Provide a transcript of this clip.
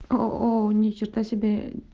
оу ни черта себе